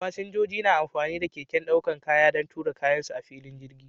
Fasinjoji na amfani da keken ɗaukar kaya don tura kayan su a filin jirgi.